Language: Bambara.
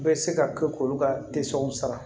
Bɛ se ka kɛ k'olu ka sara